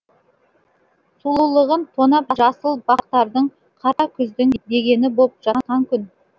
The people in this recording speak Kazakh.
сұлулығын тонап жасыл бақтардың қара күздің дегені боп жатқан күн